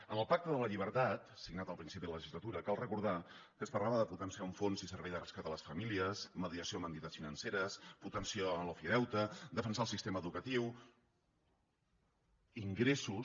en el pacte per la llibertat signat al principi de la legislatura cal recordar que es parlava de potenciar un fons i un servei de rescat a les famílies mediació amb entitats financeres potenciar l’ofideute defensar el sistema educatiu ingressos